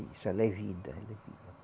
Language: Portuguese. Isso ela é vida. ela é vida.